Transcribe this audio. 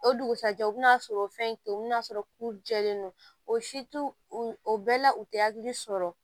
O dugusajɛ u bɛn'a sɔrɔ o fɛn to yen u bɛna sɔrɔ k'u jɛlen don o siw o bɛɛ la u tɛ hakili sɔrɔ